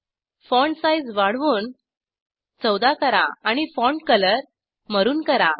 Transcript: font size वाढवून 14 करा आणि फॉन्ट कलर मारून करा